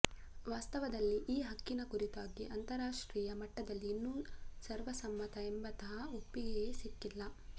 ವಾಸ್ತವದಲ್ಲಿ ಈ ಹಕ್ಕಿನ ಕುರಿತಾಗಿ ಅಂತರರಾಷ್ಟ್ರೀಯ ಮಟ್ಟದಲ್ಲಿ ಇನ್ನೂ ಸರ್ವಸಮ್ಮತ ಎಂಬಂತಹ ಒಪ್ಪಿಗೆಯೇ ಸಿಕ್ಕಿಲ್ಲ